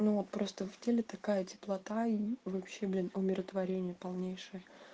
ну просто в теле такая теплота и вообще блин умиротворение полнейшее